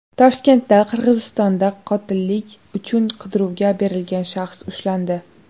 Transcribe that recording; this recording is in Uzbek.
Toshkentda Qirg‘izistonda qotillik uchun qidiruvga berilgan shaxs ushlandi.